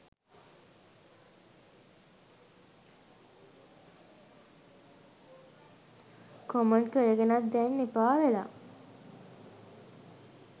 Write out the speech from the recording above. Comment කරගෙනත් දැන් එපා වෙලා.